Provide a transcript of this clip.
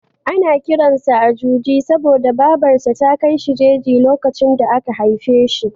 Ana kiran sa da Ajuji saboda Babar sa ta kai shi jeji lokacin da aka haife shi.